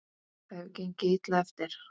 Það hefur gengið illa eftir.